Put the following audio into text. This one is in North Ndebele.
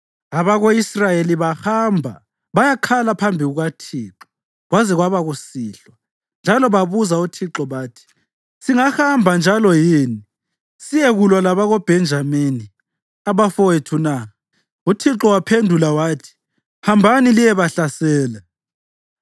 Abako-Israyeli bahamba bayakhala phambi kukaThixo kwaze kwaba kusihlwa, njalo babuza uThixo bathi, “Singahamba njalo yini siyekulwa labakoBhenjamini, abafowethu na? ” UThixo waphendula yathi, “Hambani liyebahlasela.”